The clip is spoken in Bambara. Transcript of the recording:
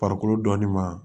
Farikolo dɔnni ma